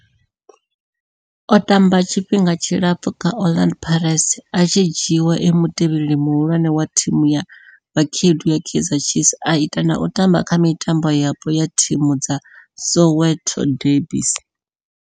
O tamba tshifhinga tshilapfhu kha Orlando Pirates, a tshi dzhiiwa e mutevheli muhulwane wa thimu ya vhakhaedu ya Kaizer Chiefs, a ita na u tamba kha mitambo yapo ya thimu dza Soweto derbies.